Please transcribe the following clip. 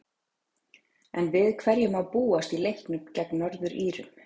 En við hverju má búast í leiknum gegn Norður-Írum?